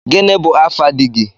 Gini bu afa dígị?